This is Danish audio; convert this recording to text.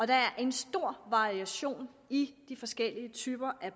der er en stor variation i de forskellige typer